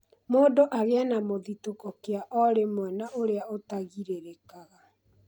mũndũ agĩe na mũthitũko kĩa o rĩmwe na ũrĩa ũtagirĩrĩkaga